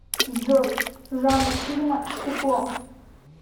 джой жанр фильма стекло